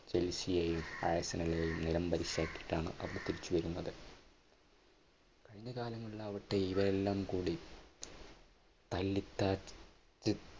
ചേൽസിയെയും ഫൈസലിനെയും നിലംപരിശാക്കിയിട്ടാണ് അവർ തിരിച്ചു വരുന്നത്. കഴിഞ്ഞ കാലങ്ങളിൽ ആവട്ടെ ഇവയെല്ലാം കൂടി തല്ലിത്തട്ട്